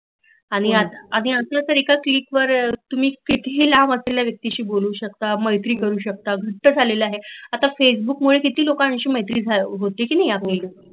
आणि आता तर एकाच त्वीटवर तुम्ही कितीही लांब असलेल्या व्यक्तीशी बोलू शकता, मैत्री करू शकता आता फेसबुक मुळे किती लोकांशी मैत्री होते की नाही आपली